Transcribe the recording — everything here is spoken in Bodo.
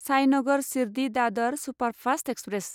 Sainagar Shirdi Dadar superfast express